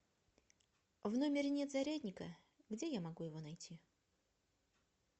в номере нет зарядника где я могу его найти